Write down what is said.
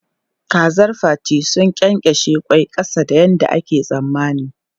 Kazar Fati sun ƙyenƙyashe ƙwai ƙasa da yadda ake tsammani.